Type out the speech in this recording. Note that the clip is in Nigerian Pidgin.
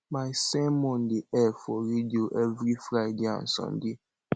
my sermon dey air for radio every friday and sunday